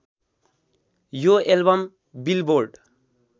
यो album billboard